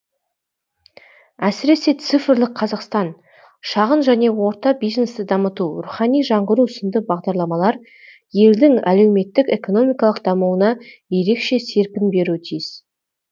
әсіресе цифрлық қазақстан шағын және орта бизнесті дамыту рухани жаңғыру сынды бағдарламалар елдің әлеуметтік экономикалық дамуына ерекше серпін беруі тиіс